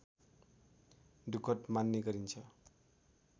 दुखद मान्ने गरिन्छ